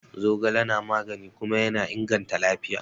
Zogale na magani kuma yana inganta lafiya.